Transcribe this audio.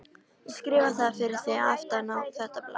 Ég skrifa það fyrir þig aftan á þetta blað.